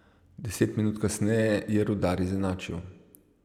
Deset minut kasneje je Rudar izenačil.